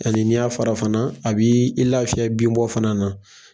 Hali n'i y'a fara fana a b'ii i lafiya bin bɔ fana na.